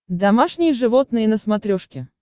домашние животные на смотрешке